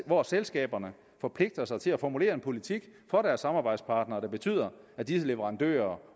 hvor selskaberne forpligter sig til at formulere en politik for deres samarbejdspartnere der betyder at disse leverandører